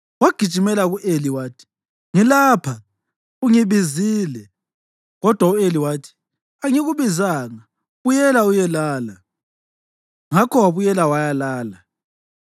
Wagijimela ku-Eli wathi, “Ngilapha; ungibizile.” Kodwa u-Eli wathi, “Angikubizanga; buyela uyelala.” Ngakho wabuyela wayalala.